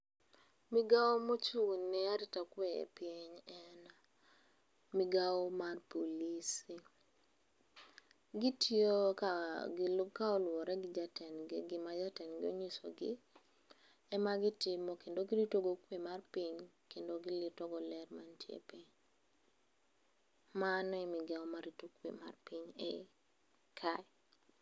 Migao mochung'ne arita kwe e piny, en migao mar polise. Gitiyoga ka oluwore gi jatendgi, gima jatendgi ong'isogi, ema gitimo kendo giritogo kwe mar piny kendo giritogo ler mantie e piny. Mano e migao marito kwe mar piny e i kae.